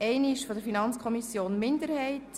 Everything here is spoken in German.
Ich möchte wie folgt vorgehen: